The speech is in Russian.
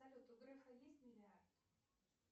салют у грефа есть миллиард